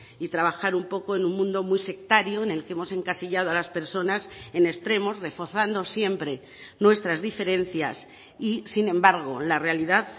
y trabajar un poco en un mundo muy sectario en el que hemos encasillado a las personas en extremos reforzando siempre nuestras diferencias y sin embargo la realidad